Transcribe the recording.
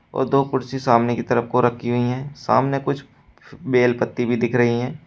और दो कुर्सी सामने की तरफ को रखी हुई है सामने कुछ बेल पत्ती भी दिख रही हैं।